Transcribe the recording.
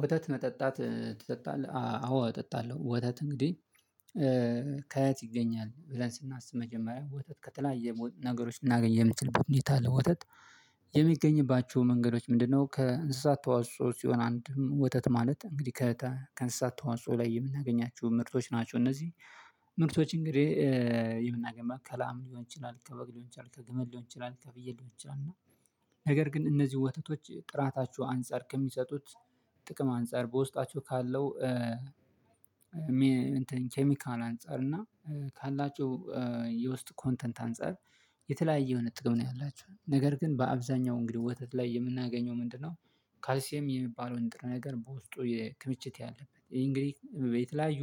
ወተት መጠጣት ትጠጣለህ? አዎ እጠጣለሁ ወተት እንግዲህ ከየት ይገኛል ብለን ስናስብ መጀመሪያ ወተት ከተለያየ ነገሮች ልናገኝ የምትልበት ሁኔታ አለ ወተት የሚገኝባቸው መንገዶች ምንድነው ከእንስሳት ተዋጽኦ ሲሆን አንድም ወተት ማለት እንግዲህ ከእንስሳት ተዋጽኦ ላይ የምናገኛችሁ ምርቶች ናቸው። እነዚህ ምርቶች እንግዲህ የምናገኛቸው መካከል ሊሆን ይችላል ከበግ ሊሆን፤ ይችላል ከግመል ሊሆን ይችላል፤ ከፍየል ሊሆን ይችላል እና ነገር ግን እነዚህ ወተቶች ጥራታችሁ አንፃር፤ ከሚሰጡት ጥቅም አንፃር፤ በውስጣቸው ካለው ኬሚካል አንፃር እና ካላቸው የውስጥ ኮንተንት አንፃር የተለያየ የሆነ ጥቅም ነው ያላችሁ ነገር ግን በአብዛኛው እንግዲህ ወተት ላይ የምናገኘው ምንድነው ካልሲየም የሚባለውን ነገር በውስጡ ክምችት ያለበት ይሄ እንግዲህ በተለያዩ